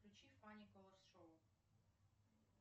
включи фанни колорс шоу